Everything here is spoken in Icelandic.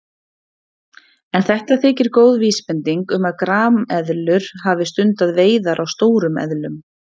En þetta þykir góð vísbending um að grameðlur hafi stundað veiðar á stórum eðlum.